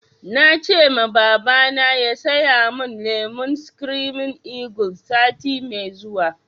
Na ce ma babana ya saya mun lemon screaming eagle sati mai zuwa